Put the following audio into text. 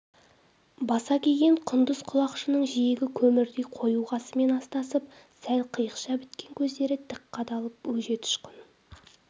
баса киген құндыз құлақшынының жиегі көмірдей қою қасымен астасып сәл қиықша біткен көздері тік қадалып өжет ұшқын